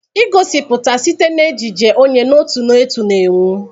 Egosiputa site na ejiji, onye n'otu n'otu na-enwu.